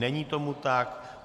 Není tomu tak.